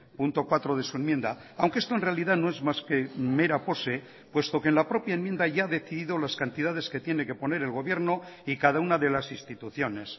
punto cuatro de su enmienda aunque esto en realidad no es más que mera pose puesto que en la propia enmienda ya ha decidido las cantidades que tiene que poner el gobierno y cada una de las instituciones